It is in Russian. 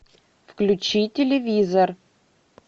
включи телевизор